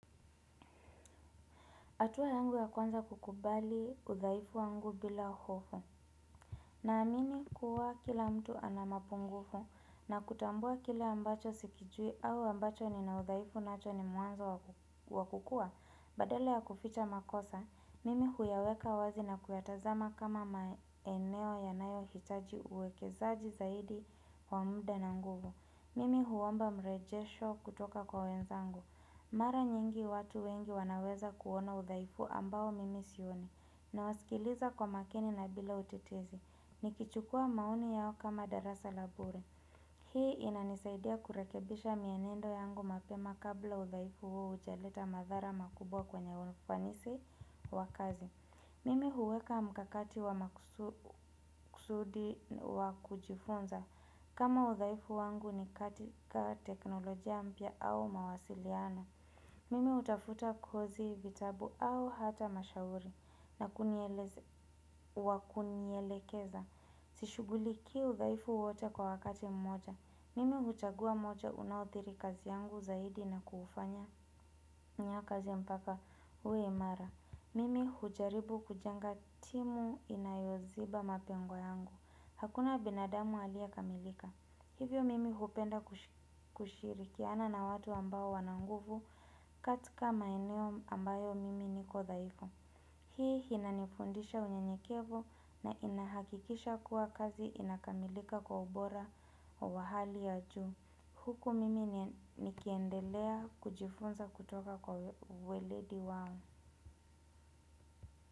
Hatua yangu ya kwanza kukubali udhaifu wangu bila hofu. Naamini kuwa kila mtu ana mapungufu na kutambua kile ambacho sikijui au ambacho nina udhaifu nacho ni mwanzo wa kukua. Badala ya kuficha makosa, mimi huyaweka wazi na kuyatazama kama maeneo yanayo hitaji uwekezaji zaidi wa muda na nguvu. Mimi huomba mrejesho kutoka kwa wenzangu. Mara nyingi watu wengi wanaweza kuona udhaifu ambao mimi sioni nawasikiliza kwa makini na bila utetezi. Nikichukua maoni yao kama darasa la bure. Hii inanisaidia kurekebisha mienendo yangu mapema kabla udhaifu huo hujaleta madhara makubwa kwenye wafanisi wa kazi. Mimi huweka mkakati wa makusudi wa kujifunza kama udhaifu wangu ni katika teknolojia mpya au mawasiliano. Mimi hutafuta kozi vitabu au hata mashauri na wa kunielekeza. Sishughulikii udhaifu wote kwa wakati mmoja. Mimi huchagua moja unaothiri kazi yangu zaidi na kufanyia kazi mpaka uwe imara. Mimi hujaribu kujenga timu inayoziba mapengo yangu. Hakuna binadamu aliye kamilika. Hivyo mimi hupenda kushirikiana na watu ambao wana nguvu katika maeneo ambayo mimi niko dhaifu. Hii inanifundisha unyenyekevu na inahakikisha kuwa kazi inakamilika kwa ubora wa hali ya juu. Huku mimi nikiendelea kujifunza kutoka kwa weledi wao.